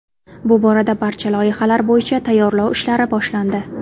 Bu borada barcha loyihalar bo‘yicha tayyorlov ishlari boshlandi.